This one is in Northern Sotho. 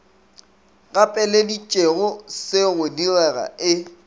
gapeleditšego se go direga e